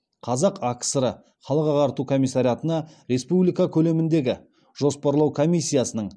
қазақ акср ы халық ағарту комиссариатына республика көлеміндегі жоспарлау комиссиясының